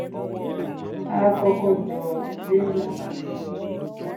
á kọkọ jọ ilé nlá kan